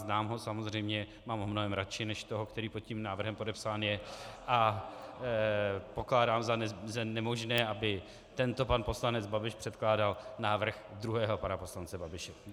Znám ho samozřejmě, mám ho mnohem raději než toho, který pod tím návrhem podepsán je, a pokládám za nemožné, aby tento pan poslanec Babiš předkládal návrh druhého pana poslance Babiše.